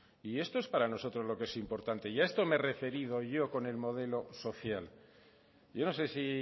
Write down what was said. y esto es para nosotros lo que es importante y a esto me he referido yo con el modelo social yo no sé si